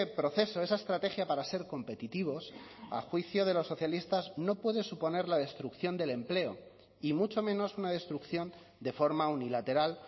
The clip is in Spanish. proceso esa estrategia para ser competitivos a juicio de los socialistas no puede suponer la destrucción del empleo y mucho menos una destrucción de forma unilateral